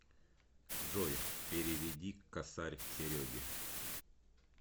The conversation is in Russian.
джой переведи косарь сереге